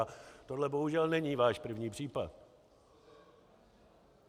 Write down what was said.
A tohle bohužel není váš první případ.